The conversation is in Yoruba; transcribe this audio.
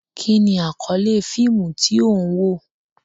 Kí ni àkọ́lé fíìmù tí ó ń wò?